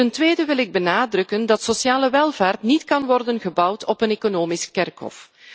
Ten tweede wil ik benadrukken dat sociale welvaart niet kan worden gebouwd op een economisch kerkhof.